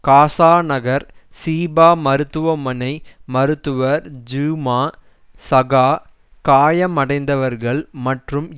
காசா நகர் சிபா மருத்துவமனை மருத்துவர் ஜுமா சகா காயமடைந்தவர்கள் மற்றும்